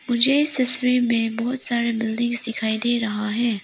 मुझे तस्वीर में बहोत सारे बिल्डिंग्स दिखाई दे रहा है।